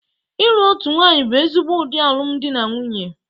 Ịlụ otu nwanyị bụ ezigbo ụdị alụmdi na nwunye